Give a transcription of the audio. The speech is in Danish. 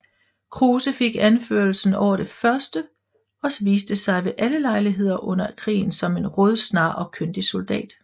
Kruse fik anførselen over det første og viste sig ved alle lejligheder under krigen som en rådsnar og kyndig soldat